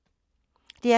DR P3